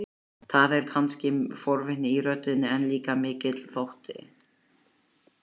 Láta bjóða sér út og hætta svo við.